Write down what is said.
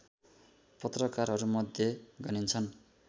पत्रकारहरूमध्ये गनिन्छन्